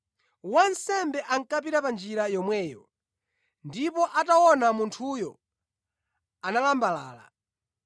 Wansembe ankapita pa njira yomweyo, ndipo ataona munthuyo, analambalala.